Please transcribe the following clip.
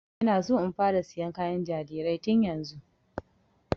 Ina so in fara sayan kayan jarirai tun yanzu